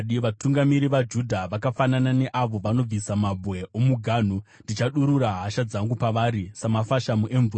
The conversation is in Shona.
Vatungamiri vaJudha vakafanana neavo vanobvisa mabwe omuganhu. Ndichadurura hasha dzangu pavari samafashamu emvura.